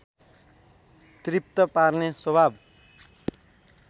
तृप्त पार्ने स्वभाव